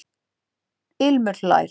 Ilmur hlær.